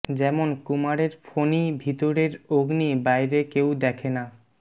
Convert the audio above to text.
যেমন কুমারের ফণী ভিতরের অগ্নি বাইরে কেউ দেখে না